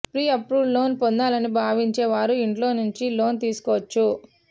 pre-approved loan పొందాలని భావించే వారు ఇంట్లో నుంచే లోన్ తీసుకోవచ్చు